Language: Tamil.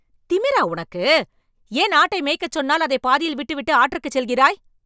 திமிரா உனக்கு.. ஏன் ஆட்டை மேய்க்க சொன்னால், அதை பாதியில் விட்டுவிட்டு ஆற்றுக்குச் செல்கிறாய்?